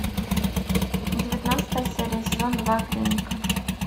девятнадцатая серия сезон два клиника